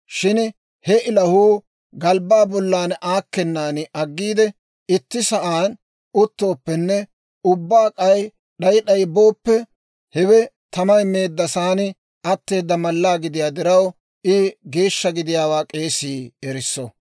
Shin he ilahuu galbbaa bollan aakkennan aggiide itti sa'aan uttooppenne ubbaa k'ay d'ay d'ay booppe, hewe tamay meeddasaan atteeda mallaa gidiyaa diraw, I geeshsha gidiyaawaa k'eesii erisso.